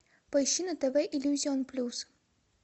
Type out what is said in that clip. поищи на тв иллюзион плюс